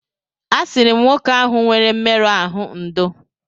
A sịrị m nwoke ahụ nwere mmerụ ahụ ndò.